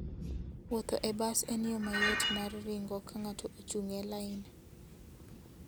Wuotho e bas en yo mayot mar ringo ka ng'ato ochung' e lain.